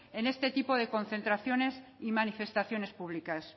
en este tipo de concentraciones y manifestaciones públicas